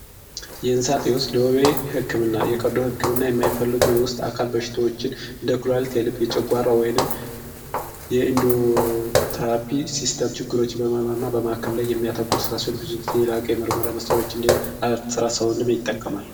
የእንሳጤ ውስጥ ዶቡቤ ሕክምና የቀዱ ሕክምና የሚይፈልጉ የውስጥ አካል በሽቶዎችን እንደ ኩሎለት የልብ የጨጓራ ወይንም የኢንዱትራፒ ሲስተም ችግሮችን በመኖር እና በማከብ ላይ የሚያተኩር ስራሴን ብዙ ጊዜ የላቀ ምርመራ መሰሮች እዲህ ሥራ ሳውንድም ይጠቀማል